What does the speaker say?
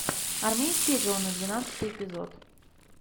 армейские жены двенадцатый эпизод